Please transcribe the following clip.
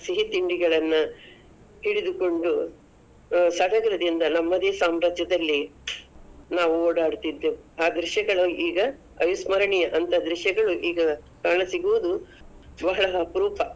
ಸಿಹಿ ತಿಂಡಿಗಳನ್ನ ಹಿಡಿದುಕೊಂಡು, ಆ ಸಡಗರದಿಂದ ನಮ್ಮದೇ ಸಾಮ್ರಾಜ್ಯದಲ್ಲಿ ನಾವು ಓಡಾಡುತಿದ್ದೆವು, ಆ ದೃಶ್ಯಗಳು ಈಗ ಅವಿಸ್ಮರಣೀಯ, ಅಂತ ದೃಶ್ಯಗಳು ಈಗ ಕಾಣಸಿಗುವುದು ಬಹಳ ಅಪ್ರೂಪ.